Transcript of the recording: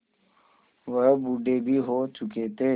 वह बूढ़े भी हो चुके थे